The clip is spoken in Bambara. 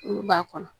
Olu b'a kɔnɔ